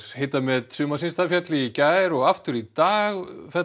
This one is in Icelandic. hitamet sumarsins féll í gær og aftur í dag